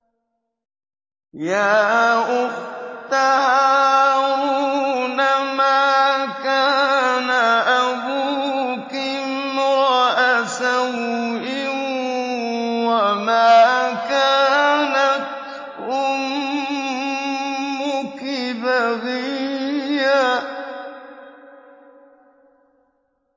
يَا أُخْتَ هَارُونَ مَا كَانَ أَبُوكِ امْرَأَ سَوْءٍ وَمَا كَانَتْ أُمُّكِ بَغِيًّا